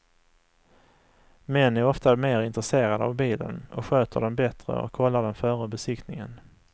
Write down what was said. Män är ofta mer intresserade av bilen och sköter den bättre och kollar den före besiktningen.